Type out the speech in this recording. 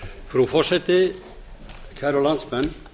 frú forseti kæru landsmenn